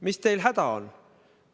Mis teil häda on?